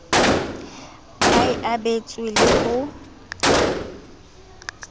ba e abetsweng le ho